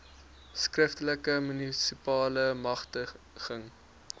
skriftelike munisipale magtiging